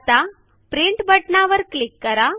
आता प्रिंट बटणावर क्लिक करा